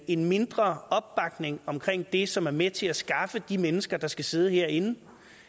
en mindre opbakning omkring det som er med til at skaffe de mennesker der skal sidde herinde